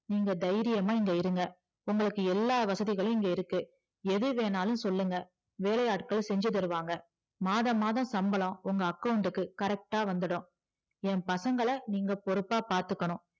நீங்க தைரியமா இங்க இருங்க உங்களுக்கு எல்லா வசதியும் இங்க இருக்கு எதுவேணாலும் சொல்லுங்க வேளையாட்கள் செஞ்சிதருவாங்க மாதம் மாதம் சம்பளம் உங்க account டுக்கு correct ஆ வந்துடும் ஏன் பசங்கள நீங்க பொறுப்பா பாத்துக்கணும்